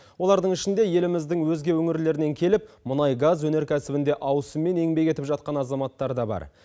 олардың ішінде еліміздің өзге өңірлерінен келіп мұнай газ өнеркәсібінде ауысыммен еңбек етіп жатқан азаматтар да бар